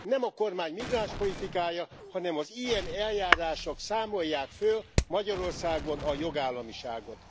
Nem a kormány migránspolitikája, hanem az ilyen eljárások számolják föl Magyarországon a jogállamiságot.